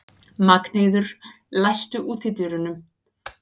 Magnheiður, læstu útidyrunum.